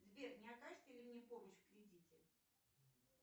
сбер не окажите ли мне помощь в кредите